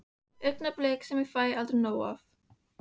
Augnablik sem ég fæ aldrei nóg af.